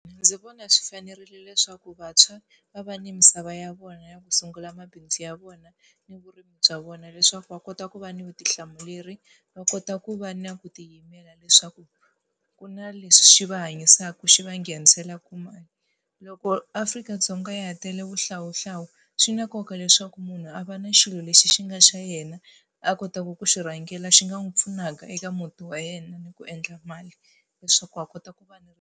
Ndzi vona swi fanerile leswaku vantshwa va va ni misava ya vona ya ku sungula mabindzu ya vona ni vurimi bya vona leswaku va kota ku va ni vutihlamuleri, va kota ku va na ku tiyimela leswaku ku na lexi va hanyisaka xi va nghenisela mali. Loko Afrika-Dzonga ya ha tele vuhlawuhlawu, swi na nkoka leswaku munhu a va na xilo lexi xi nga xa yena, a kotaka ku xi rhangela xi nga n'wi pfunaka eka muti wa yena ni ku endla mali, leswaku a kota ku va ni .